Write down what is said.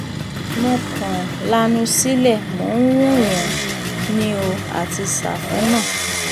mo kàn um lanu sílé mò ń wò wọ́n um ni o àti sáfù náà